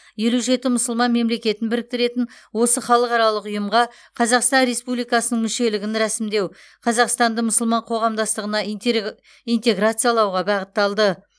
елу жеті мұсылман мемлекетін біріктіретін осы халықаралық ұйымға қазақстан республикасының мүшелігін рәсімдеу қазақстанды мұсылман қоғамдастығына интегр интеграциялауға бағытталды